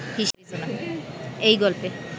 এই গল্পে